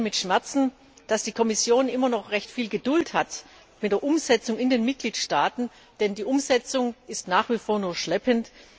Wir sehen mit Schmerzen, dass die Kommission immer noch recht viel Geduld mit der Umsetzung in den Mitgliedstaaten hat, denn die Umsetzung ist nach wie vor nur schleppend.